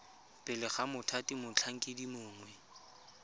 pele ga mothati motlhankedi mongwe